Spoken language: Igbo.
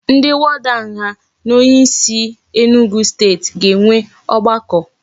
Ndi warder nga na onye isi a enugwu state ga enwe ogbako